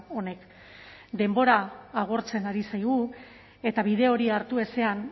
honek denbora agortzen ari zaigu eta bide hori hartu ezean